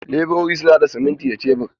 Leburori suna haɗa siminti da shebur.